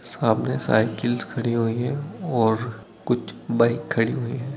सामने साइकल्स खड़ी हुई हैं और कुछ बाइक खड़ी हुई हैं।